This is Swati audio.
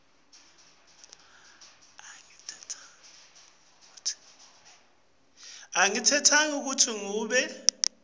angitentanga kutsi ngibe